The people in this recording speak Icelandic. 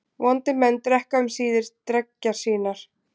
Vondir menn drekka um síðir dreggjar sínar.